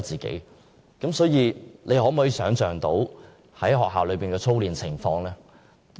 大家可否想象學校內的操練情況？